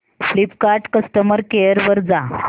Flipkart customer care वर जा